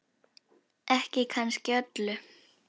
Ekki kannski öllu.